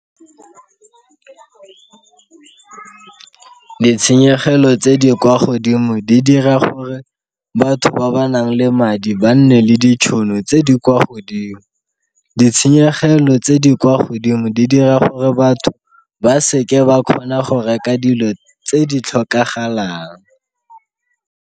Ditshenyegelo tse di kwa godimo di dira gore batho ba ba nang le madi ba nne le ditšhono tse di kwa godimo. Ditshenyegelo tse di kwa godimo di dira gore batho ba seke ba kgona go reka dilo tse di tlhokagalang.